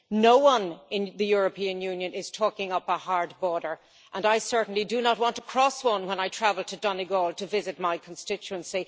No one in the European Union is talking up a hard border, and I certainly do not want to cross one when I travel to Donegal to visit my constituency.